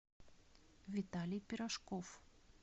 виталий пирожков